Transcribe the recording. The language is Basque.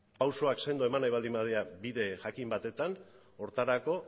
auzoak sendo eman nahi baldin badira bide jakin batetan horretarako